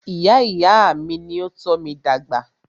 Ìyá ìyá à mí ní o tọ́ mí dàgbà.